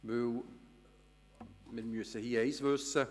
Denn wir müssen eines wissen: